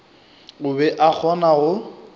o be a kgona go